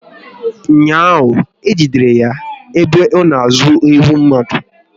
Ụnyaahụ, e jidere ya ebe ọ na ezu ewu mmadụ